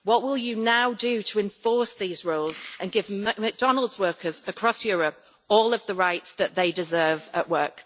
What will you now do to enforce these rules and give McDonald's workers across Europe all of the rights that they deserve at work?